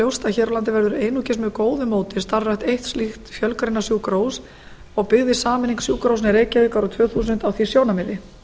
ljóst að hér á landi verður einungis með góðu móti starfrækt eitt slíkt fjölgreinasjúkrahús og byggði sameining sjúkrahúsanna í reykjavík árið tvö þúsund á því sjónarmiði